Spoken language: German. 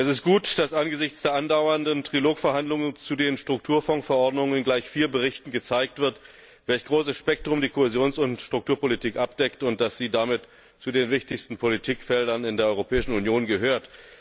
Es ist gut, dass angesichts der andauernden Trilogverhandlungen zu den Strukturfondsverordnungen in gleich vier Berichten gezeigt wird, welch großes Spektrum die Kohäsions und Strukturpolitik abdeckt, und dass sie damit zu den wichtigsten Politikfeldern in der Europäischen Union gehört.